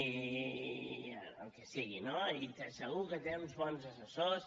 el que sigui no i segur que té uns bons assessors